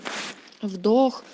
вдох